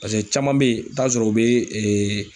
paseke caman be yen ,i bi taa sɔrɔ u be